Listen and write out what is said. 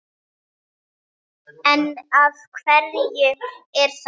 En af hverju er það?